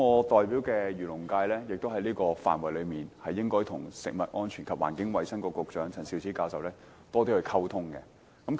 在這個範籌上，我代表的漁農界也應該與食物及衞生局局長陳肇始教授多作溝通。